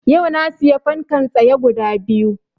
Yau na siya fankan tsaye guda biyu